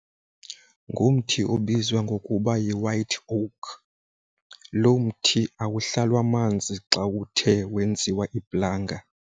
Ngumthi obizwa ngokuba yi-white oak. Lo mthi awuhlalwa amanzi xa uthe wenziwa iplanga.